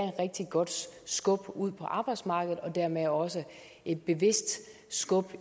rigtig godt skub ud på arbejdsmarkedet og dermed også et bevidst skub